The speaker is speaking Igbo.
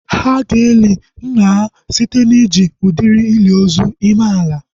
Ha ga-eli nna ha site na iji udiri ili ozu ime ala